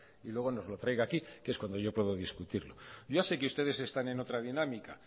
y luego nos lo traiga aquí que es cuando yo puedo discutirlo yo ya sé que ustedes están en otra dinámica